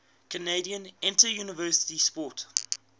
canadian interuniversity sport